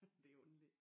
Det underligt